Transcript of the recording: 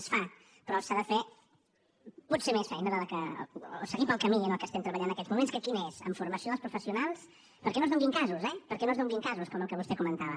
es fa però s’ha de fer potser més feina o seguir pel camí en què estem treballant en aquests moments que quin és en formació dels professionals perquè no es donin casos eh perquè no es donin casos com el que vostè comentava